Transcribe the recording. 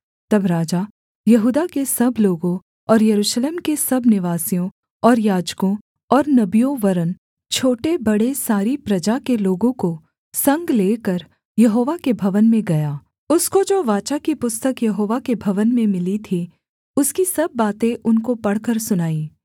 तब राजा यहूदा के सब लोगों और यरूशलेम के सब निवासियों और याजकों और नबियों वरन् छोटे बड़े सारी प्रजा के लोगों को संग लेकर यहोवा के भवन में गया उसने जो वाचा की पुस्तक यहोवा के भवन में मिली थी उसकी सब बातें उनको पढ़कर सुनाईं